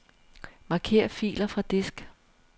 Marker filer fra disk.